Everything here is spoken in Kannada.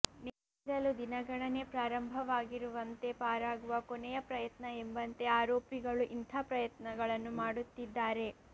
ನೇಣಿಗೇರಲು ದಿನಗಣನೆ ಪ್ರಾರಂಭವಾಗಿರುವಂತೆ ಪಾರಾಗುವ ಕೊನೆಯ ಪ್ರಯತ್ನ ಎಂಬಂತೆ ಆರೋಪಿಗಳು ಇಂಥ ಪ್ರಯತ್ನಗಳನ್ನು ಮಾಡುತ್ತಿದ್ದಾರೆ